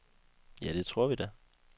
Ja, det tror vi da.